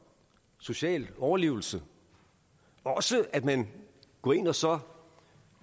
social overlevelse og også at man går ind og så